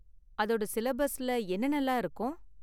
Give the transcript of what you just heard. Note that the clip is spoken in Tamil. அதோட சிலபஸ்ல என்னென்னலாம் இருக்கும்?